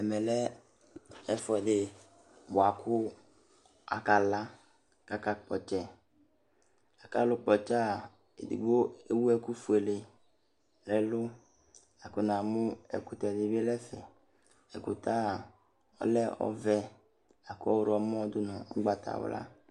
Ɛmɛ lɛ ɛfuɛdɩ buaku akala, aka kpɔtsɛ Akalʊkpɔtsɛa edigbo ewʊ ɛku fuele nɛlʊ Ɛkʊtɛ dibi dɛfɛ, ɛkʊtɛ ɔlɛ ɔvɛ, ɔwlɔmɔ nʊgbatawla